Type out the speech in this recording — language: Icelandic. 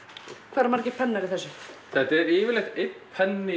hvað eru margir pennar í þessu þetta er yfirleitt einn penni